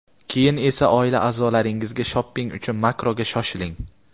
keyin esa oila a’zolaringizga shopping uchun Makroga shoshiling.